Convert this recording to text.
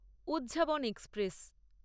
উহ্যাবন express